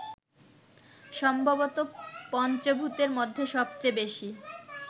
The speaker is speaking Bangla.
সম্ভবত পঞ্চভূতের মধ্যে সবচেয়ে বেশি